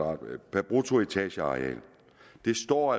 per bruttoetageareal det står